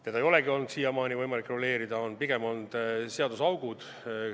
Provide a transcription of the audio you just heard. Seda ei olegi olnud siiamaani võimalik reguleerida, pigem on olnud seaduses augud.